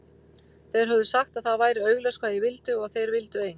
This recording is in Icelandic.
Þeir höfðu sagt að það væri augljóst hvað ég vildi og að þeir vildu ein